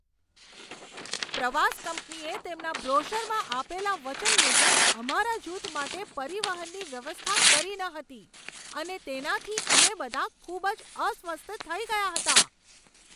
પ્રવાસ કંપનીએ તેમના બ્રોશરમાં આપેલા વચન મુજબ અમારા જૂથ માટે પરિવહનની વ્યવસ્થા કરી ન હતી અને તેનાથી અમે બધા ખૂબ જ અસ્વસ્થ થઈ ગયા હતા.